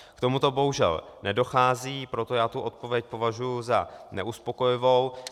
K tomuto bohužel nedochází, proto já tu odpověď považuji za neuspokojivou.